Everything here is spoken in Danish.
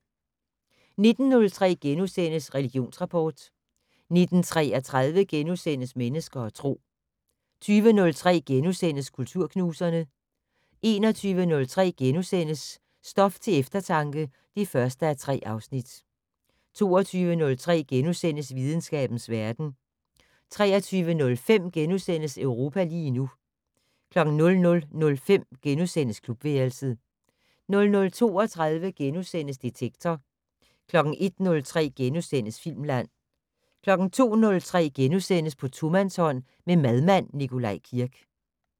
19:03: Religionsrapport * 19:33: Mennesker og Tro * 20:03: Kulturknuserne * 21:03: Stof til eftertanke (1:3)* 22:03: Videnskabens verden * 23:05: Europa lige nu * 00:05: Klubværelset * 00:32: Detektor * 01:03: Filmland * 02:03: På tomandshånd med madmand Nikolaj Kirk *